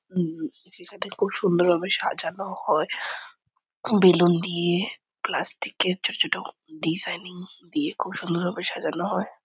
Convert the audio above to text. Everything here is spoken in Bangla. হু খুব সুন্দর ভাবে সাজানো হয় বেলুন দিয়ে প্লাস্টিকের ছোট ছোট ডিজাইন দিয়ে খুব সুন্দর ভাবে সাজানো হয়।